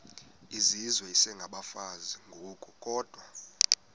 izizwe isengabafazi ngokukodwa